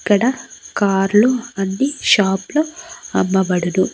ఇక్కడ కార్ లు అన్ని షాప్ లో అమ్మబడును.